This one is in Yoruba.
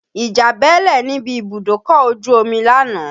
Ìjà bẹ́ẹ́lẹ̀ níbi ibùdókọ̀ ojú omi lánàá